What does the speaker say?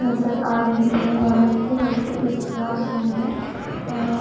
नज़र आरही है और हल्की हल्की उस क्लासरूम में अः--